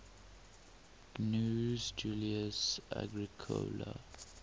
gnaeus julius agricola